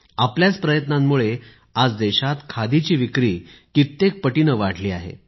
आपल्याच प्रयत्नांमुळे आज देशात खादीची विक्री कित्येक पटीने वाढली आहे